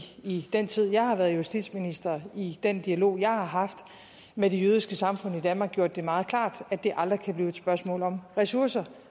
i den tid jeg har været justitsminister i den dialog jeg har haft med det jødiske samfund i danmark gjort det meget klart at det aldrig kan blive et spørgsmål om ressourcer